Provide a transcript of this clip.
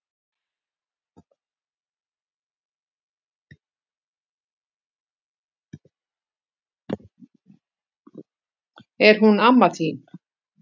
Er hún amma þín?